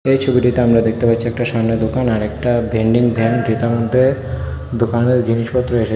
এই ছবিটিতে আমরা দেখতে পাচ্ছি একটা সামনে দোকান আরেকটা ভেন্ডিং ভ্যান যেটার মধ্যে দোকানের জিনিসপত্র এসে--